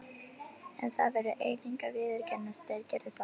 En það verður einnig að viðurkennast: þeir gerðu það.